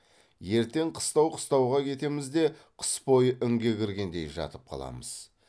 ертең қыстау қыстауға кетеміз де қыс бойы інге кіргендей жатып қаламыз